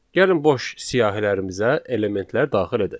Gəlin boş siyahılarımıza elementlər daxil edək.